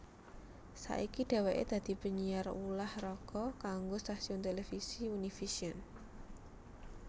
Saiki dheweke dadi penyiar ulah raga kanggo stasiun televisi Univision